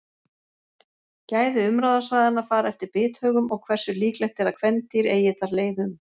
Gæði umráðasvæðanna fara eftir bithögum og hversu líklegt er að kvendýr eigi þar leið um.